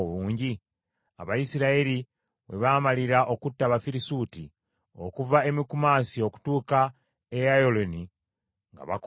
Abayisirayiri we baamalira okutta Abafirisuuti okuva e Mikumasi okutuuka e Ayalooni nga bakooye nnyo.